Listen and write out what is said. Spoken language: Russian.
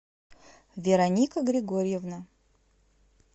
вероника григорьевна